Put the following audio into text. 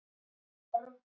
En við höfum nægan tíma.